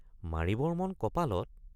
মাৰিবৰ মন কপালত।